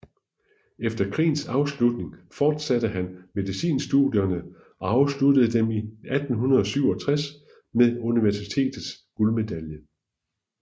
Efter krigens afslutning fortsatte han medicinstudierne og afsluttede dem i 1867 med universitetets guldmedalje